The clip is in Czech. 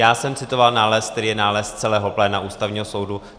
Já jsem citoval nález, který je nález celého pléna Ústavního soudu.